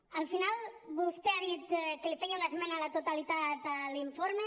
al final vostè ha dit que li feia una esmena a la totalitat a l’informe